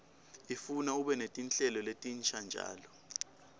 ifuna ube netinhlelo letinsha njalo